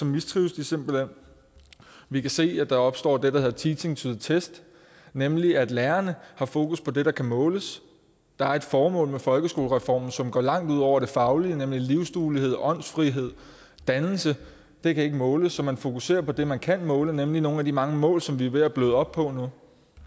mistrives de simpelt hen vi kan se at der opstår det der hedder teaching to the test nemlig at lærerne har fokus på det der kan måles der er et formål med folkeskolereformen som går langt ud over det faglige nemlig livsduelighed åndsfrihed dannelse og det kan ikke måles så man fokuserer på det man kan måle nemlig nogle af de mange mål som vi er ved at bløde op på nu